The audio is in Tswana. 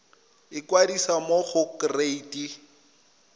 ikwadisa mo go kereite r